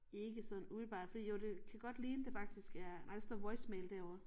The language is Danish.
Ikke sådan umiddelbart fordi jo det kan godt ligne det faktisk er ej der står voice mail derovre